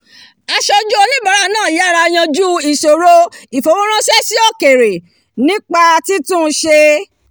aṣojú oníbàárà náà yára yanjú ìṣòro ìfowóránṣẹ́ sí òkèèrè náà nípa títun ṣe